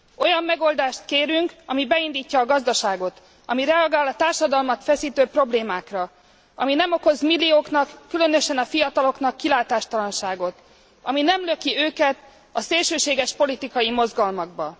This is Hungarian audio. Olyan megoldást kérünk, ami beindítja a gazdaságot. Ami reagál a társadalmat feszítő problémákra. Ami nem okoz millióknak, különösen a fiataloknak kilátástalanságot. Ami nem löki őket a szélsőséges politikai mozgalmakba.